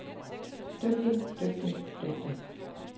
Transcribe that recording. dygtig dygtig dygtig